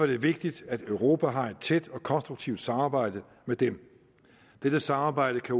det vigtigt at europa har et tæt og konstruktivt samarbejde med dem dette samarbejde kan